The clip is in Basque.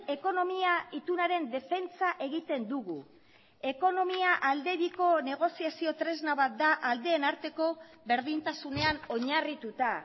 ekonomia itunaren defentsa egiten dugu ekonomia aldebiko negoziazio tresna bat da aldeen arteko berdintasunean oinarrituta